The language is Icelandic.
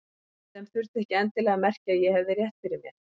Sem þurfti ekki endilega að merkja að ég hefði rétt fyrir mér.